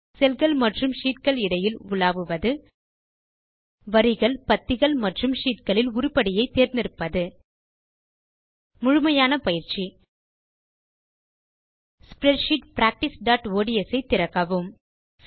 செல் கள் மற்றும் ஷீட் கள் இடைவில் உலாவுவது வரிகள் பத்திகள் மற்றும் ஷீட் களில் உருப்படியை தேர்ந்தெடுப்பது முழுமையான பயிற்சி ஸ்ப்ரெட்ஷீட் practiceஒட்ஸ் ஐ திறக்கவும்